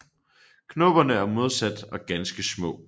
Knopperne er modsatte og ganske små